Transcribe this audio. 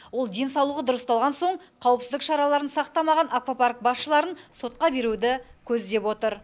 ол денсаулығы дұрысталған соң қауіпсіздік шараларын сақтамаған аквапарк басшыларын сотқа беруді көздеп отыр